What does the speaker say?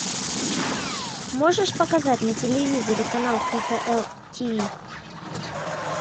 можешь показать на телевизоре канал кхл тв